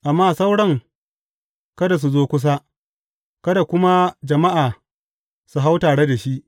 Amma sauran kada su zo kusa, kada kuma jama’a su hau tare da shi.